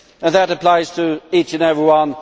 And that applies to each and every one.